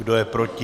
Kdo je proti?